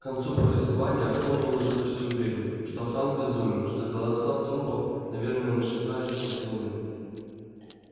к концу повествования артем был уже почти уверен что хан безумен что голоса в трубах наверное нашептали что-то ему